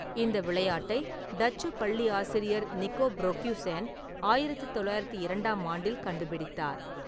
இந்த விளையாட்டை டச்சு பள்ளி ஆசிரியர் நிக்கோ ப்ரோகுய்சென் ஆயிரத்து தொள்ளாயிரத்தி இரண்டாம் ஆண்டில் கண்டுபிடித்தார்.